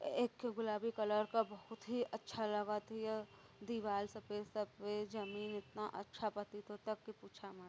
एक गुलाबी कलर का बहुत ही अच्छा लागत हियदीवाल सफेद सफेद जमीन इतना अच्छा प्रतीत होता की पूछअ मत।